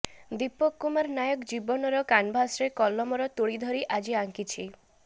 ଦୀପକ କୁମାର ନାୟକ ଜୀବନ ର କାନଭାସ ରେ କଲମ ର ତୁଳି ଧରୀ ଆଜି ଆଙ୍କିଛି